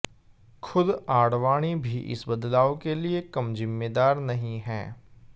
खुद आडवाणी भी इस बदलाव के लिए कम जिम्मेदार नहीं हैं